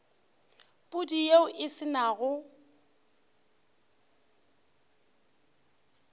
pudi yeo e se nago